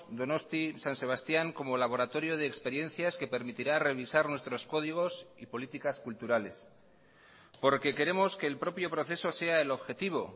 donosti san sebastián como laboratorio de experiencias que permitirá revisar nuestros códigos y políticas culturales porque queremos que el propio proceso sea el objetivo